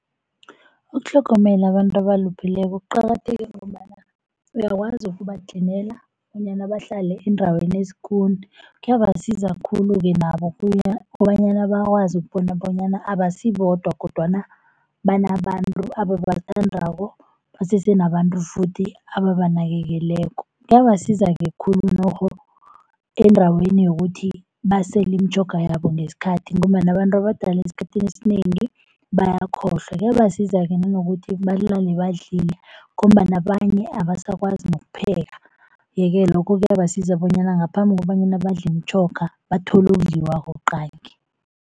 Ukutlhogomela abantu abalupheleko kuqakatheke ngombana uyakwazi ukubatlinela bonyana bahlale endaweni esikuni. Kuyabasiza khulu-ke nabo kobanyana bakwazi ukubona bonyana abasibodwa, kodwana banabantu ababathandako, basese nabantu futhi ababanakekelako. Kuyabasiza-ke khulu nokho endaweni yokuthi basele imitjhoga yabo ngesikhathi, ngombana abantu abadala esikhathini esinengi bayakhohlwa. Kuyabasiza-ke nangokuthi balale badlile ngombana abanye abasakwazi nokupheka. Yeke lokho kuyabasiza bonyana ngaphambi kobanyana badle imitjhoga bathole okudliwako qangi.